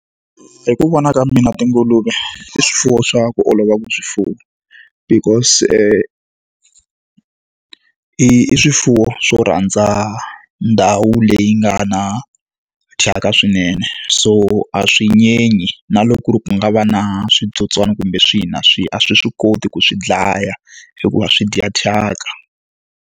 Hi ku vona ka mina tinguluve i swifuwo swa ku olova ku swi fuwa because i i swifuwo swo rhandza ndhawu leyi nga na thyaka swinene. So a swi nyenyi na loko ku ri ku nga va na switsotswana kumbe swihi na swihi, a swi swi koti ku swi dlaya hikuva swi dya thyaka.